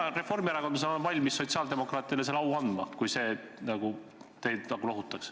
Mina reformierakondlasena olen valmis sotsiaaldemokraatidele selle au andma, kui see teid lohutaks.